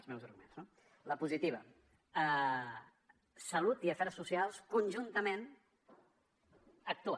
ments no la positiva salut i afers socials conjuntament actuen